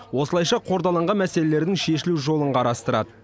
осылайша қордаланған мәселелердің шешілу жолын қарастырады